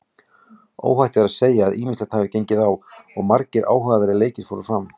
Óhætt er að segja að ýmislegt hafi gengið á og margir áhugaverðir leikir fóru fram.